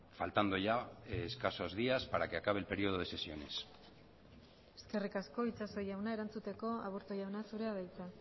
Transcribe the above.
faltando ya escasos días para que acabe el periodo de sesiones eskerrik asko itxaso jauna erantzuteko aburto jauna zurea da hitza